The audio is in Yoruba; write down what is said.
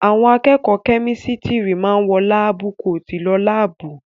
Àwọn akẹ́kọ̀ọ́ kẹ́mísítìrì máa wọ láábú koòtù lọ láàbù.